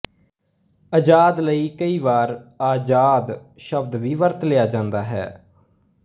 ਅਜ਼ਾਦ ਲਈ ਕਈ ਵਾਰ ਆਜ਼ਾਦ ਸ਼ਬਦ ਵੀ ਵਰਤ ਲਿਆ ਜਾਂਦਾ ਹੈ